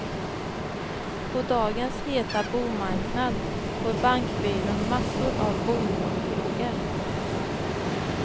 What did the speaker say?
På dagens heta bomarknad får bankbyrån massor av bolånefrågor.